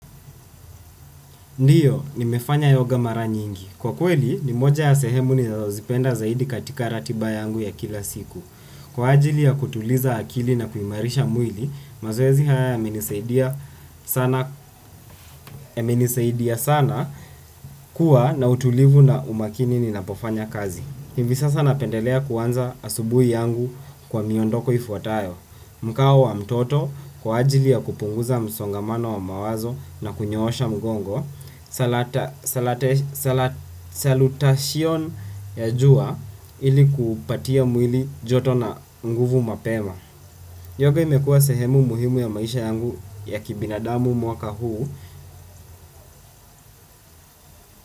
Ndiyo, nimefanya yoga mara nyingi. Kwa kweli ni moja ya sehema ninazo zipenda zaidi katika ratiba yangu ya kila siku kwa ajili ya kutuliza akili na kuimarisha mwili mazoezi haya yamenisaidia ya menisaidia sana kuwa na utulivu na umakini ni na pofanya kazi. Hivi sasa napendelea kuanza asubuhi yangu kwa miondoko ifuatayo. Mkao wa mtoto kwa ajili ya kupunguza msongamano wa mawazo na kunyoosha mgongo Salatashion ya jua ili kupatia mwili joto na nguvu mapema. Yoga imekua sehemu muhimu ya maisha yangu ya kibinadamu mwaka huu.